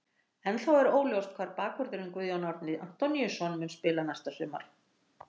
Ennþá er óljóst hvar bakvörðurinn Guðjón Árni Antoníusson mun spila næsta sumar.